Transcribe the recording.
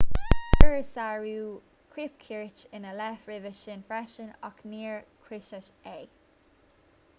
cuireadh sárú cóipchirt ina leith roimhe sin freisin ach níor cúisíodh é